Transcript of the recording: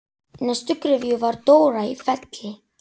Í næstu gryfju var Dóra í Felli.